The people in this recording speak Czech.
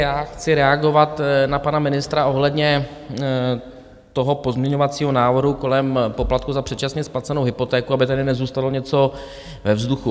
Já chci reagovat na pana ministra ohledně toho pozměňovacího návrhu kolem poplatku za předčasně splacenou hypotéku, aby tady nezůstalo něco ve vzduchu.